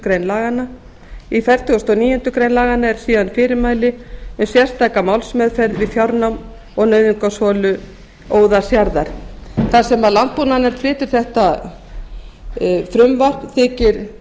grein laganna í fertugustu og níundu grein laganna eru síðan fyrirmæli um sérstaka málsmeðferð við fjárnám og nauðungarsölu óðalsjarðar þar sem landbúnaðarnefnd flytur þetta frumvarp